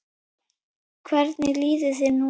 Hvernig líður þér núna?